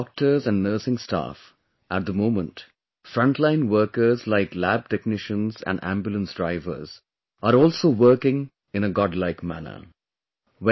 along with Doctors and Nursing Staff, at the moment frontline Workers like LabTechnicians and Ambulance Drivers are also working in a godlike manner